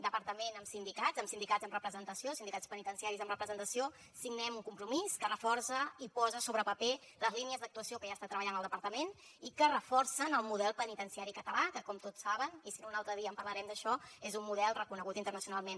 departament amb sindicats amb sindicats amb representació sindicats penitenciaris amb representació signem un compromís que reforça i posa sobre paper les línies d’actuació que ja ha estat treballant el departament i que reforcen el model penitenciari català que com tots saben i si no un altre dia en parlarem d’això és un model reconegut internacionalment